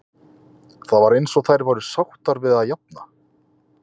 Það var eins og þær væru sáttar við það að jafna.